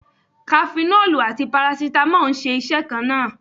Kafinọ́lù àti Parasítámọ̀ ń ṣe iṣẹ́ kan náà.